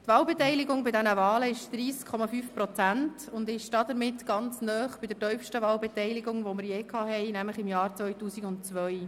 Die Wahlbeteiligung bei diesen Wahlen betrug 30,5 Prozent und liegt somit nahe bei der tiefsten Wahlbeteiligung, die wir jemals hatten, nämlich im Jahr 2002.